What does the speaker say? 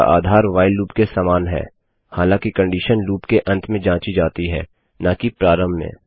इसका आधार while loop के समान है हालाँकि कंडीशन लूप के अंत में जाँची जाती है न कि प्रारंभ में